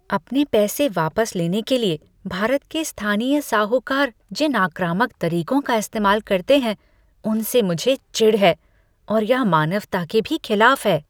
अपने पैसे वापस लेने के लिए भारत के स्थानीय साहूकार जिन आक्रामक तरीकों का इस्तेमाल करते हैं उनसे मुझे चिढ़ है और यह मानवता के भी खिलाफ है।